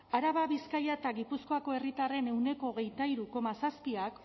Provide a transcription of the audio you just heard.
araba bizkaia eta gipuzkoako herritarren ehuneko hogeita hiru koma zazpiak